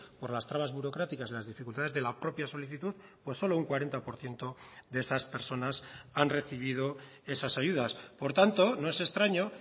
por las trabas burocráticas de las dificultades de la propia solicitud pues solo un cuarenta por ciento de esas personas han recibido esas ayudas por tanto no es extraño